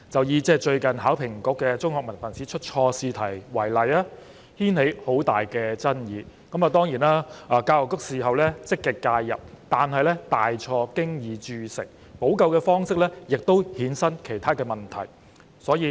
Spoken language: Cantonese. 以最近考評局在香港中學文憑試出錯試題為例，此事牽起很大爭議，教育局事後積極介入，但大錯已經鑄成，補救的方式亦衍生了其他問題。